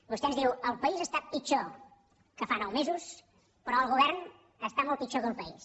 vostè ens diu el país està pitjor que fa nou mesos però el govern està molt pitjor que el país